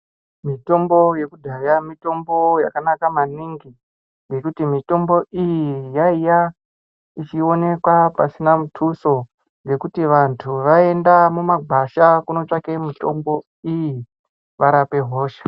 Mitombo yekudhaya mitombo yakanaka maningi ngekuti mitombo iyi yaiya ichionekwa pasina mutuso ngekuti vantu vaienda mumagwasha kunotsvake mitombo iyi varape hosha.